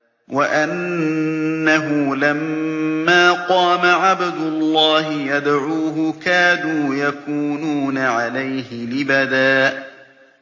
وَأَنَّهُ لَمَّا قَامَ عَبْدُ اللَّهِ يَدْعُوهُ كَادُوا يَكُونُونَ عَلَيْهِ لِبَدًا